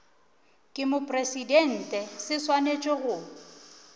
ke mopresidente se swanetše go